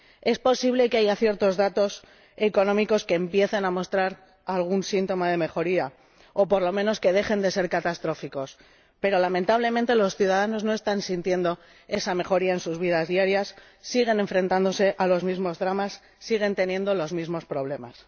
Es posible que haya ciertos datos económicos que empiecen a mostrar algún síntoma de mejoría o, por lo menos, que dejen de ser catastróficos, pero lamentablemente los ciudadanos no están sintiendo esa mejoría en sus vidas diarias siguen enfrentándose a los mismos dramas y siguen teniendo los mismos problemas.